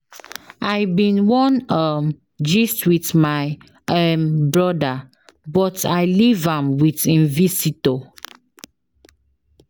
I bin wan um gist wit my um broda but I leave am wit im visitor.